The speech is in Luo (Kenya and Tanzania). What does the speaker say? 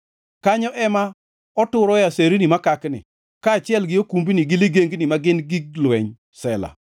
Kanyo ema e oturoe aserni makakni, kaachiel gi okumbni gi ligengni, ma gin gig lweny. Sela